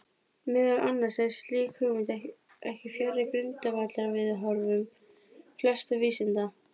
Meðal annars er slík hugmynd ekki fjarri grundvallarviðhorfum flestra vísinda.